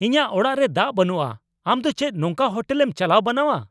ᱤᱧᱟᱹᱜ ᱚᱲᱟᱜ ᱨᱮ ᱫᱟᱜ ᱵᱟᱹᱱᱩᱜᱼᱟ ! ᱟᱢ ᱫᱚ ᱪᱮᱫ ᱱᱚᱝᱠᱟ ᱦᱳᱴᱮᱞᱮᱢ ᱪᱟᱞᱟᱣ ᱵᱟᱱᱟᱣᱼᱟ ?